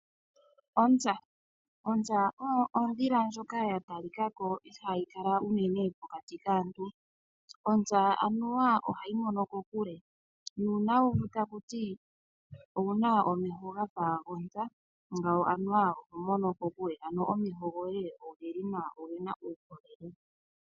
Ontsa, ontsa oyo ondhila ndjoka ya talikako ihaayi kala unene mokati kaantu. Ontsa anuwa ohayi mono kokule , nuuna wo taku ti owuna omeho gafa gontsa ngawo anuwa oho mono kokule ano omeho goye ogeli nawa ogena uukolele.